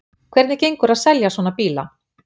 Hvernig gengur að selja svona bíla?